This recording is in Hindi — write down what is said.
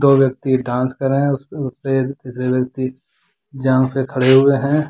दो व्यक्ति डांस कर रहे है जांघ पे खड़े हुए है।